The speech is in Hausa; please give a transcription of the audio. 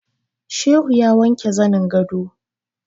Shehu ya wanke zanin gado